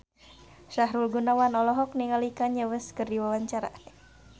Sahrul Gunawan olohok ningali Kanye West keur diwawancara